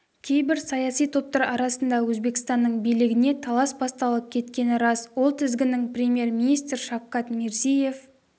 кейбір саяси топтар арасында өзбекстанның билігіне талас басталып кеткені рас ол тізгінді премьер-министр шавкат мирзиеев